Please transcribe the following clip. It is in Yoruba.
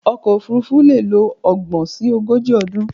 Ọkọ̀ òfurufú leè lo ogbòn si ogójì ọdún